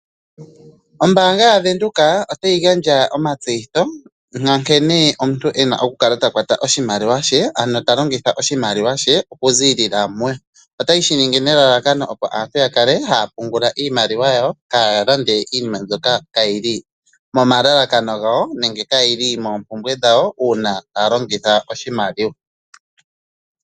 Ombaanga yaVenduka otayi gandja omatseyitho nkene omuntu ena okukala takwata oshimaliwa she okuzilila muye otaye shiningi nelalakano opo aantu yakale haya pungula iimaliwa yawo kaayalande iinima mbyoka kayili moompumbwe dhawo uuna taya longitha oshimaliwa.